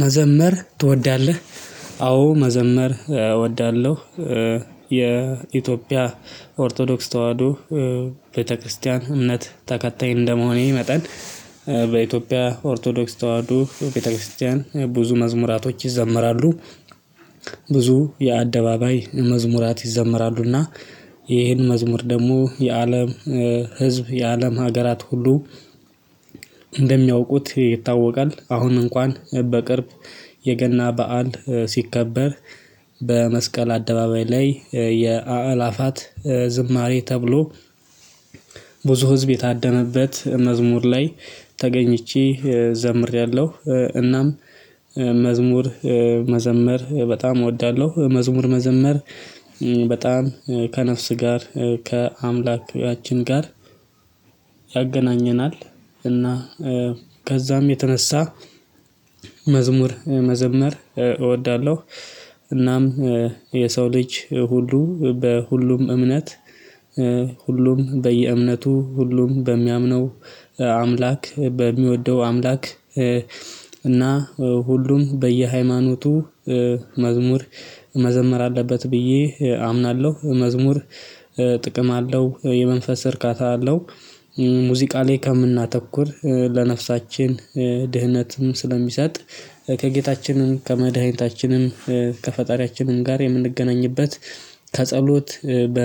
መዘመር ትወዳለህ? አዎ መዘመር እወዳለሁ። የኢትዮጵያ ኦርቶዶክስ ተዋህዶ ቤተክርስቲያን እምነት ተከታይ እንደመሆኔ መጠን በኢትዮጵያ ኦርቶዶክስ ተዋህዶ ቤተክርስቲያን ብዙ መዝሙራቶች ይዘምራሉ። ብዙ የአደባባይ መዝሙራት ይዘመራሉና ይህን መዝሙር ደግሞ የአለም ህዝብ የአለም ሀገራት ሁሉ እንደሚያውቁት ይታወቃል። አሁን እንኳን በቅርብ የገና በዓል ሲከበር በመስቀል አደባባይ ላይ የአእላፋት ዝማሬ ተብሎ ብዙ ህዝብ የታደመበት መዝሙር ላይ ተገኝቼ ዘምሬያለሁ። እናም መዝሙር መዘመር በጣም እወዳለሁ። መዝሙር መዘመር በጣም ከነፍስ ጋር ከአምላካችን ጋር ያገናኘናል። እና ከዛም የተነሳ መዝሙር መዘመር እወዳለሁ። እናም የሰው ልጅ ሁሉ በሁሉም እምነት ሁሉም በየእምነቱ ሁሉም በሚያምነው አምላክ በሚወደው አምላክ እና ሁሉም በየሃይማኖቱ መዝሙር መዘመር አለበት ብዬ አምናለሁ። መዝሙር ጥቅም አለው የመንፈስ እርካታ አለው። ሙዚቃ ላይ ከምናተኩር ለነፍሳችን ድህነትም ስለሚሰጥ ከጌታችንም ከመድኃኒታችንም ከፈጣሪያችንም ጋር የምንገናኝበት ከጸሎት በ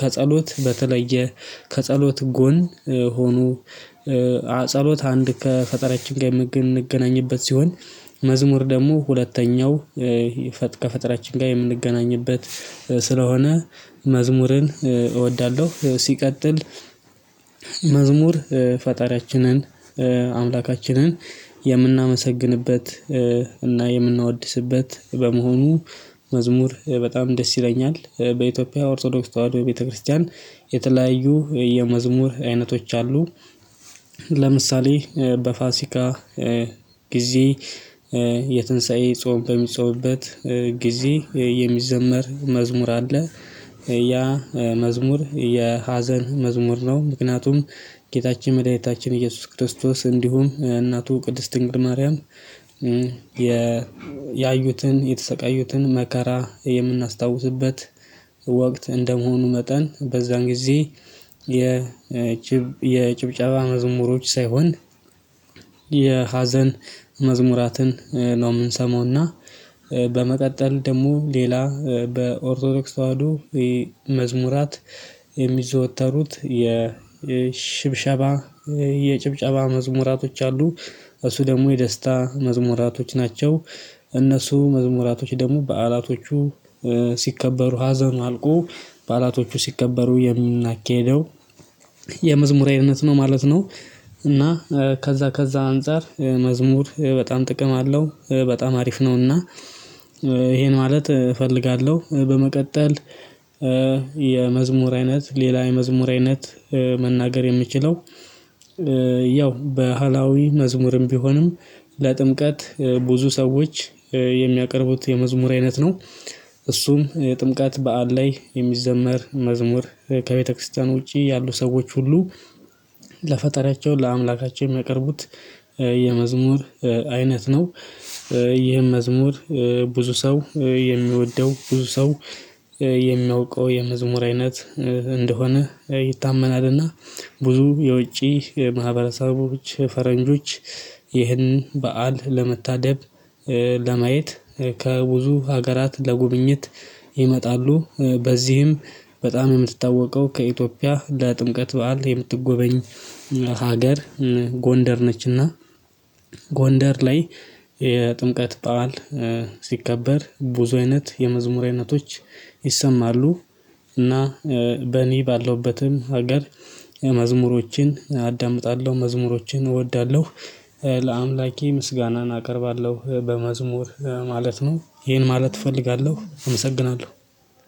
ከጸሎት በተለየ ከጸሎት ጎን ሆኖ። ጸሎት አንድ ከፈጠራችን ጋ የምንገናኝበት ሲሆን። መዝሙር ደግሞ ሁለተኛው ከፈጣሪያችን ጋ የምንገናኝበት ስለሆነ መዝሙርን እወዳለሁ። ሲቀጥል መዝሙር ፈጣሪያችንን አምላካችንን የምናመሰግንበት እና የምናወድስበት በመሆኑ መዝሙር በጣም ደስ ይለኛል። በኢትዮጵያ ኦርቶዶክስ ተዋህዶ ቤተክርስቲያን የተለያዩ የመዝሙር አይነቶች አሉ። ለምሳሌ በፋሲካ ጊዜ የትንሳኤ ጾም በሚጾምበት ጊዜ የሚዘመር መዝሙር አለ። ያ መዝሙር የሀዘን መዝሙር ነው። ምክንያቱም ጌታችን መድኃኒታችን ኢየሱስ ክርስቶስ እንዲሁም እናቱ ቅድስት ድንግል ማርያም ያዩትን የተሰቃዩትን መከራ የምናስታውስበት ወቅት እንደመሆኑ መጠን በዛን ጊዜ። የጭብጨባ መዝሙሮች ሳይሆን የሀዘን መዝሙራትን ነው ምንሰማውና። በመቀጠል ደግሞ ሌላ በኦርቶዶክስ ተዋህዶ መዝሙራት የሚዘወተሩት የሽብሸባ የጭብጨባ መዝሙራቶች አሉ። እሱ ደግሞ የደስታ መዝሙራቶች ናቸው። እነሱ መዝሙራቶች ደግሞ በዓላቶቹ ሲከበሩ ሀዘኑ አልቆ በዓላቶቹ ሲከበሩ የምናኬደው የመዝሙር አይነት ነው ማለት ነው። እና ከዛ ከዛ አንፃር መዝሙር በጣም ጥቅም አለው በጣም አሪፍ ነውና እሄ ማለት እፈልጋለሁ። በመቀጠል የመዝሙር አይነት ሌላ የመዝሙር አይነት መናገር የሚችለው ያው በሃላዊ መዝሙርም ቢሆንም ለጥምቀት ብዙ ሰዎች የሚያቀርቡት የመዝሙር አይነት ነው። እሱም የጥምቀት በዓል ላይ የሚዘመር መዝሙር ከቤተክርስቲያን ውጪ ያሉ ሰዎች ሁሉ ለፈጣሪያቸው ለአምላካቸው የሚያቀርቡት የመዝሙር አይነት ነው። ይህም መዝሙር ብዙ ሰው የሚወደው ብዙ ሰው የሚያውቀው የመዝሙር አይነት እንደሆነ ይታመናልና። ብዙ የውጪ ማህበረሰቦች ፈረንጆች ይህን በዓል ለመታደብ ለማየት ከብዙ ሀገራት ለጉብኝት ይመጣሉ። በዚህም በጣም የምትታወቀው ከኢትዮጵያ ለጥንቀት በዓል የምትጎበኝ ሀገር ጎንደር ነችና። ጎንደር ላይ የጥምቀት በዓል ሲከበር ብዙ አይነት የመዝሙር አይነቶች ይሰማሉ። እና በእኔ ባለውበትም ሀገር መዝሙሮችን አዳምጣለሁ መዝሙሮችን እወዳለሁ። ለአምላኬ ምስጋናን አቀርባለሁ በመዝሙር ማለት ነው። ይሄን ማለት እፈልጋለሁ አመሰግናለሁ